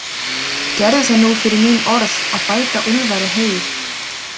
Gerðu það nú fyrir mín orð að bæta Úlfari heyið.